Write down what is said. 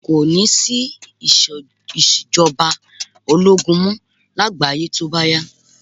Kò ní sí ìṣèjọba ológun mọ́ lágbàáyé tó bá yá